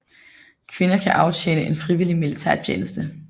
Kvinder kan aftjene en frivillig militærtjeneste